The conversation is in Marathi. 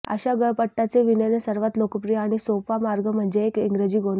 अशा गळपट्टाचे विणणे सर्वात लोकप्रिय आणि सोपा मार्ग म्हणजे एक इंग्रजी गोंद आहे